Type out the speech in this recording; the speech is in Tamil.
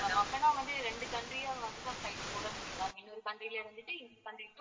அப்போன்னா வந்து ரெண்டு country யா flight போட முடியும் ma'am இன்னொரு country ல இருந்துட்டு இந்த country to